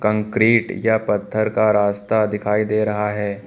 Concrete या पत्थर का रास्ता दिखाई दे रहा है।